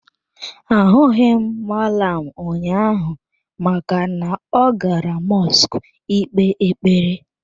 Ahụghị m mallam ụnyaahụ maka na ọ gara mọsk ị kpee ekpere.